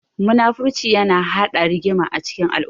Muna-furci yana haɗa rigima a cikin al'umma.